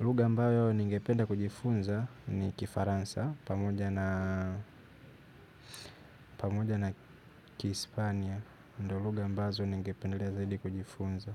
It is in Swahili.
Lugha ambayo ningependa kujifunza ni kifaransa pamoja na pamoja na kihispania ndio lugha ambazo ningependelea zaidi kujifunza